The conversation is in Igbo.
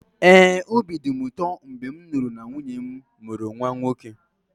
ee, obi dị m ụtọ mgbe m nụrụ na nwunye m mụrụ nwa nwoke